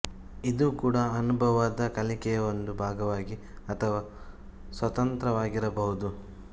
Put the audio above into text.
ಇದು ಕೂಡ ಅನುಭವದ ಕಲಿಕೆಯ ಒಂದು ಭಾಗವಾಗಿ ಅಥವಾ ಸ್ವತಂತ್ರವಾಗಿರಬಹುದು